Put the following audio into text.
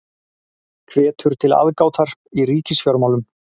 Hvetur til aðgátar í ríkisfjármálum